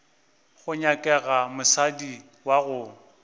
go nyakega mosadi wa gago